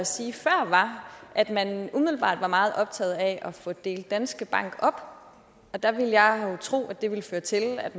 sige før var at man umiddelbart er meget optaget af at få delt danske bank op der vil jeg jo tro at det vil føre til at